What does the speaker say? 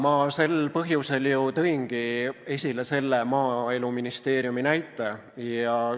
Jaa, sel põhjusel ma ju tõingi esile Maaeluministeeriumi näite.